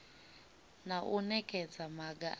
na u nekedza maga a